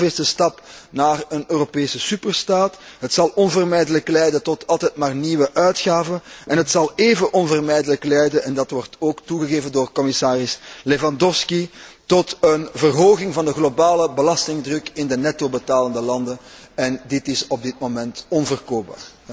Het is de zoveelste stap naar een Europese superstaat, het zal onvermijdelijk leiden tot altijd maar nieuwe uitgaven en het zal even onvermijdelijk leiden en dat wordt ook toegegeven door commissaris Lewandowski tot een verhoging van de globale belastingdruk in de netto betalende landen, en dit is op dit moment onverkoopbaar.